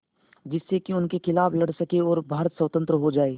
जिससे कि उनके खिलाफ़ लड़ सकें और भारत स्वतंत्र हो जाये